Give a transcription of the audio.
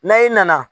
N'a i nana